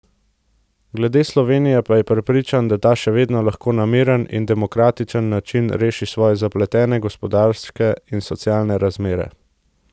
Glede Slovenije pa je prepričan, da ta še vedno lahko na miren in demokratičen način reši svoje zapletene gospodarske in socialne razmere.